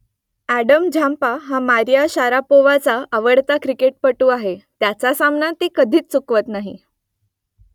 अॅडम Zampa हा Maria शारापोव्हाचा आवडता क्रिकेटपटू आहे त्याचा सामना ती कधीच चुकवत नाही